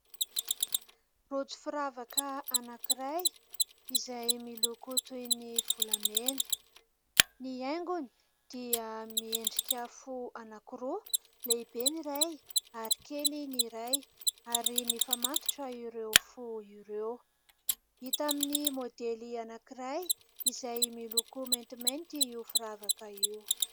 Rojo firavaka anankiray izay miloko toy ny volamena. Ny haingony dia miendrika fo anankiroa : lehibe ny iray ary kely ny iray, ary mifamatotra ireo fo ireo. Hita amin'ny môdely anankiray izay miloko maintimainty io firavaka io.